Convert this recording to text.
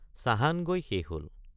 চাহান গৈ শেষ হল।